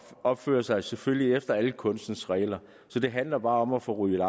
opfører sig selvfølgelig efter alle kunstens regler så det handler bare om at få ryddet